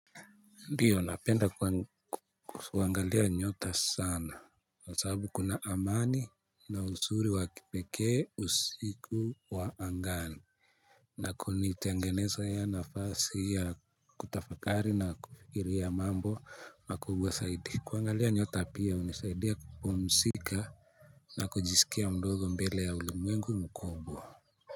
Pia napenda kuangalia nyota sana. Kwa sababu kuna amani na uzuri wa kipekee usiku wa angani. Na kunitengenezea nafasi ya kutafakari na kufikiria mambo makubwa zaidi. Kuangalia nyota pia hunisaidia kupumzika na kujisikia mdogo mbele ya ulimwengu mkubwa.